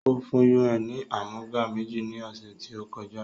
Ó fún UN ni àmúga méjì ni ọ̀sẹ̀ tí ó kọjá